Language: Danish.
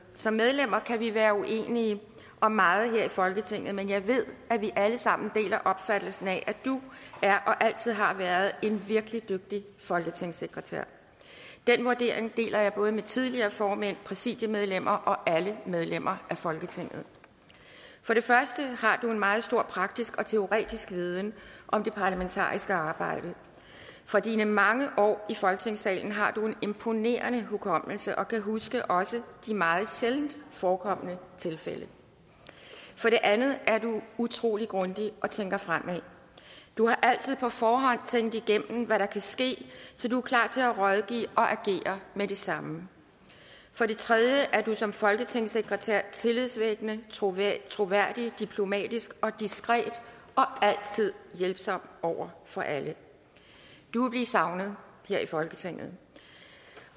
som medlemmer kan vi være uenige om meget her i folketinget men jeg ved at vi alle sammen deler opfattelsen af at du er og altid har været en virkelig dygtig folketingssekretær den vurdering deler jeg både med tidligere formænd præsidiemedlemmer og alle medlemmer af folketinget for det første har du en meget stor praktisk og teoretisk viden om det parlamentariske arbejde fra dine mange år i folketingssalen har du en imponerende hukommelse og kan huske også de meget sjældent forekomne tilfælde for det andet er du utrolig grundig og tænker fremad du har altid på forhånd tænkt igennem hvad der kan ske så du er klar til at rådgive og agere med det samme for det tredje er du som folketingssekretær tillidsvækkende troværdig troværdig diplomatisk og diskret og altid hjælpsom over for alle du vil blive savnet her i folketinget